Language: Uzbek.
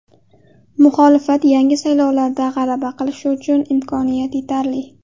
Muxolifat yangi saylovlarda g‘alaba qilishi uchun imkoniyat yetarli.